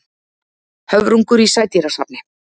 Höfrungur í sædýrasafni.